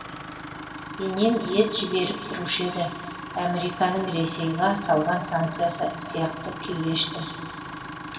енем ет жіберіп тұрушы еді әміриканың ресейга салған санкциясы сияқты күй кештім